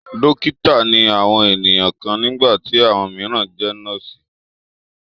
Dọ́kítá ni àwọn ènìyàn kan nígbà tí àwọn mìíràn jẹ nọ́ọ́sì.